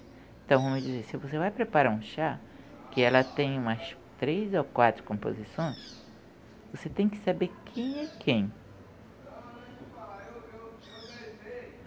Então, vamos dizer, se você vai preparar um chá, que ela tem umas três ou quatro composições, você tem que saber quem é quem.